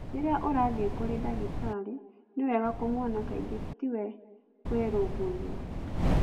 Rĩrĩa ũrathiĩ kũrĩ ndagĩtarĩ, nĩ wega kũmuona kaingĩ tiwe kwĩrũmbũiya.'